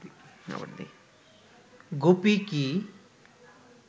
গুপি কি